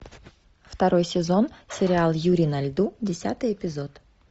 второй сезон сериал юри на льду десятый эпизод